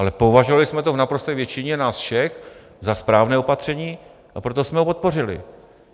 Ale považovali jsme to v naprosté většině nás všech za správné opatření, a proto jsme ho podpořili.